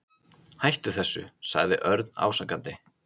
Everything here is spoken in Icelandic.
Hættu þessu sagði Örn ásakandi.